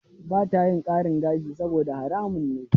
Ba ta yin ƙarin gashi saboda haramun ne.